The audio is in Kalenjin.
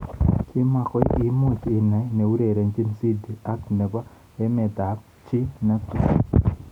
Kimakoi imuch inai neurerenjin Sidi ak nebo emet ab chi netui.